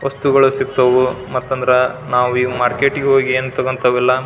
ವಸ್ತುಗಳು ಸಿಗ್ತವು ಮತ್ತಂದ್ರ ನಾವು ಈ ಮಾರ್ಕೆಟ್ ಗೆ ಹೋಗಿ ಏನ್ ತಕೊಂತವ್ ಎಲ್ಲ --